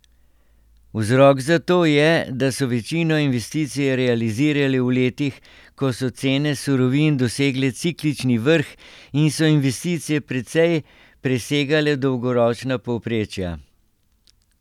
Vzrok za to je, da so večino investicij realizirali v letih, ko so cene surovin dosegle ciklični vrh in so investicije precej presegale dolgoročna povprečja.